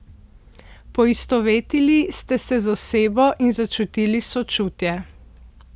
Poistovetili ste se z osebo in začutili sočutje.